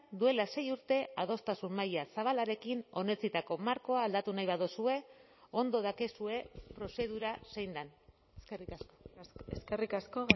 duela sei urte adostasun maila zabalarekin onetsitako markoa aldatu nahi baduzue ondo dakizue prozedura zein den eskerrik asko eskerrik asko